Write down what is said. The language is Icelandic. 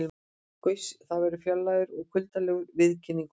Gauss gat verið fjarlægur og kuldalegur í viðkynningu.